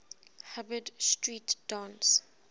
hubbard street dance